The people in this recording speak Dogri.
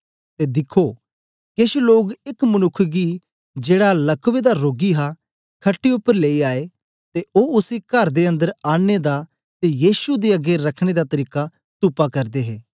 ते दिखो केश लोग एक मनुक्ख गी जेड़ा लकवे दा रोगी हा खट्टे उपर लेई आए ते ओ उसी कर दे अन्दर आनने दा ते यीशु दे अगें रखने दा तरीका तुपा करदे हे